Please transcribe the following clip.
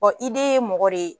Ɔ i de ye mɔgɔ de ye